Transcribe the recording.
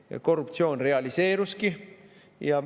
Ja korruptsioon realiseeruski.